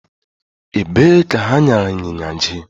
Ebe ka ha nyara ịnyịnya jee?